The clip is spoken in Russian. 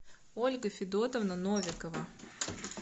ольга федотовна новикова